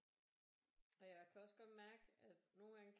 Og jeg kan også godt mærke at nogle gange